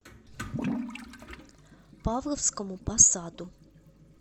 павловскому посаду